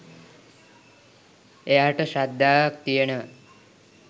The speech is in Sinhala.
එයාට ශ්‍රද්ධාවක් තියෙනවා